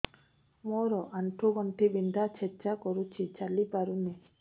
ମୋର ଆଣ୍ଠୁ ଗଣ୍ଠି ବିନ୍ଧା ଛେଚା କରୁଛି ଚାଲି ପାରୁନି